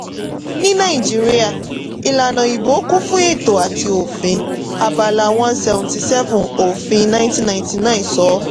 ní nàìjíríà ìlànà 'ìbò' kún fún ètò àti òfin; abala one seventy seven òfin nineteen ninety nine sọ.